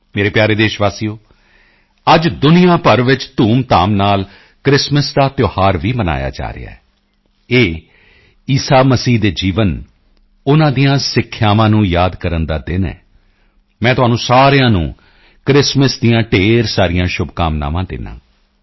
ਮੇਰੇ ਪਿਆਰੇ ਦੇਸ਼ਵਾਸੀਓ ਅੱਜ ਦੁਨੀਆ ਭਰ ਵਿੱਚ ਧੂਮਧਾਮ ਨਾਲ ਕ੍ਰਿਸਮਸ ਦਾ ਤਿਉਹਾਰ ਵੀ ਮਨਾਇਆ ਜਾ ਰਿਹਾ ਹੈ ਇਹ ਈਸਾ ਮਸੀਹ ਦੇ ਜੀਵਨ ਉਨ੍ਹਾਂ ਦੀਆਂ ਸਿੱਖਿਆਵਾਂ ਨੂੰ ਯਾਦ ਕਰਨ ਦਾ ਦਿਨ ਹੈ ਮੈਂ ਤੁਹਾਨੂੰ ਸਾਰਿਆਂ ਨੂੰ ਕ੍ਰਿਸਮਸ ਦੀਆਂ ਢੇਰ ਸਾਰੀਆਂ ਸ਼ੁਭਕਾਮਨਾਵਾਂ ਦਿੰਦਾ ਹਾਂ